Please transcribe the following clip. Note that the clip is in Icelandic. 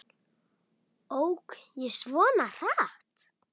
Ók ég svona hratt?